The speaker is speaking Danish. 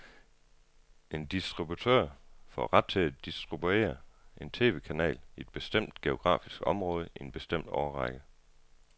En distributør får ret til at distribuere en tv-kanal i et bestemt geografisk område i en bestemt årrække.